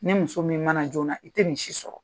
Ni muso min man na joona i tɛ nin si sɔrɔ.